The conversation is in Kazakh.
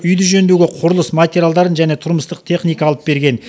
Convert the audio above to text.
үйді жөндеуге құрылыс материалдарын және тұрмыстық техника алып берген